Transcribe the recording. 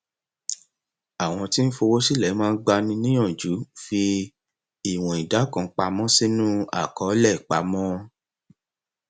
àwọn tí ń fowó sílẹ máa ń gbani níyànjú fi ìwọn ìdá kan pamọ sínú àkọọlẹ ìpamọ